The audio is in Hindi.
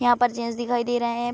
यहाँ पर जेन्स दिखाई दे रहे हैं।